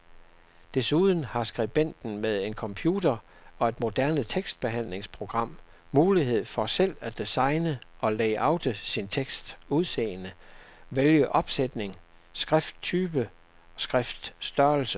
Desuden har skribenten med en computer og et moderne tekstbehandlingsprogram mulighed for selv at designe og layoute sin teksts udseende, vælge opsætning, skrifttype, skriftstørrelse.